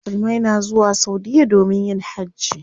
Musulmai na zuwa saudiya domin yin hajji.